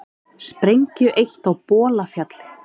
Sprengju eytt á Bolafjalli